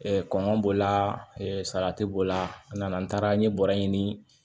kɔngɔ b'o la salati b'o la a nana n taara n ye bɔrɛ ɲini